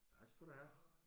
Tak skal du have